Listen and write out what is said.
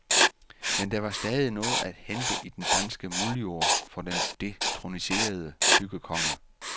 Men der var stadig noget at hente i den danske muldjord for den detroniserede byggekonge.